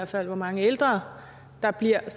til hvor mange ældre der bliver at